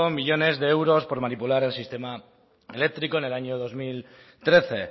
millónes de euros por manipular el sistema eléctrico en el año dos mil trece